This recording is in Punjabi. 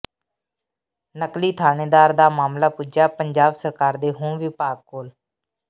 ਨਕਲੀ ਥਾਣੇਦਾਰ ਦਾ ਮਾਮਲਾ ਪੁੱਜਿਆ ਪੰਜਾਬ ਸਰਕਾਰ ਦੇ ਹੋਮ ਵਿਭਾਗ ਕੋਲ